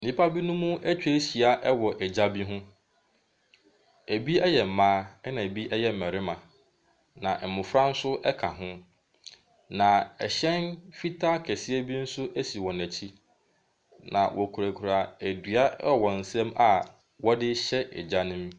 Nnipa binom atwa ahyia wɔ egya bi ho. Ɛbi yɛ mmaa, ɛna ɛbi yɛ mmarima. Na mmɔfra nso ka ho. Na ɛhyɛn fitaa kɛseɛ bi nso si wɔn akyi. Na wɔkurakura dua wɔ wɔn nsam a wɔde rehyɛ gya no mu.